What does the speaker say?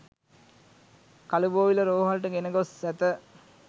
කළුබෝවිල රෝහලට ගෙන ගොස් ඇත